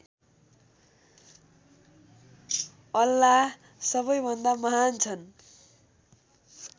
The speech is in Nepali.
अल्लाह सबैभन्दा महान् छन्